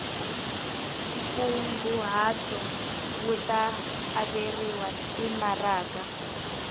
nkunguhato wu ta averiwa timaraka